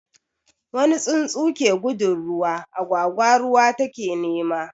Wani tsuntsu ke gudun ruwa, agwagwa ruwa take nema.